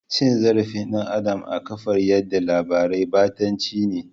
Cin zarafin dan Adam a kafar yada labarai batanci ne.